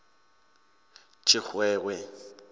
tshixowe